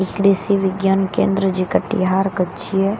कृषि विज्ञानं केंद्र जे कटिहार के छियै ई बहुत --